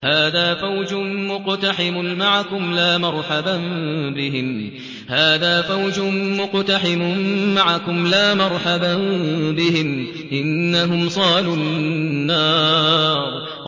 هَٰذَا فَوْجٌ مُّقْتَحِمٌ مَّعَكُمْ ۖ لَا مَرْحَبًا بِهِمْ ۚ إِنَّهُمْ صَالُو النَّارِ